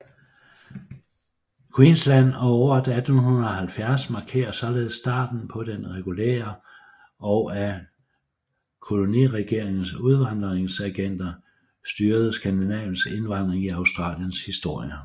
Queensland og året 1870 markerer således starten på den regulære og af koloniregeringernes udvandreragenter styrede skandinaviske indvandring i Australiens historie